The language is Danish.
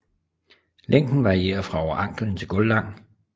Længden varierer fra over anklen til gulvlang